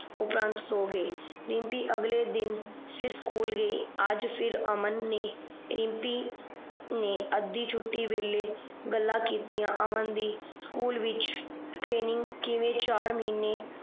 ਉਪਰੰਤ ਸੋ ਗਏ ਰਿਮਪੀ ਅਗਲੇ ਦਿਨ ਫਿਰ School ਗਯੀ ਅੱਜ ਫਰ ਅਮਨ ਨੇ ਰਿਮਪੀ ਨੇ ਆਦਿ ਸੁਟੀ ਵੇਲੇ ਗੱਲਾਂ ਕੀਤੀਆਂ